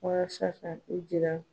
Walasa k'a ko jira.